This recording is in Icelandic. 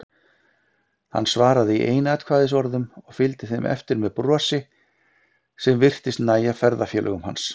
Hann svaraði í einsatkvæðisorðum og fylgdi þeim eftir með brosi sem virtist nægja ferðafélögum hans.